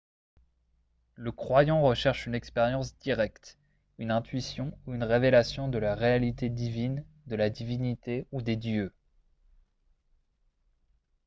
le croyant recherche une expérience directe une intuition ou une révélation de la réalité divine/de la divinité ou des dieux